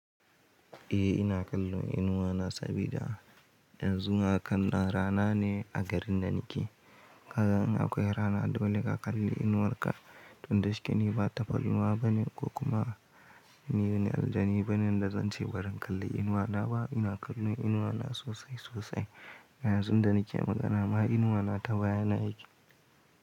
Eh ina kallon inuwa na sabida yanzu hakannan rana ne a garin da na ke. Kaga in akwai rana dole ka kalli inuwarka. Tun da shike ni ba tapalwa bane ko kuma ni dani aljani bane da zan ce barin kalli inuwana ba. Ina kallon inuwana sosai sosai. Yanzun da nake magana ma inuwana ta baya na yake.